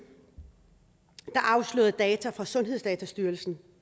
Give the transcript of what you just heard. afslørede data fra sundhedsdatastyrelsen